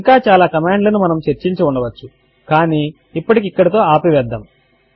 ఇంకా చాలా కమాండ్ లను మనము చర్చించి ఉండవచ్చు కానీ ఇప్పటికి ఇక్కడితో ఆపి వేద్దాము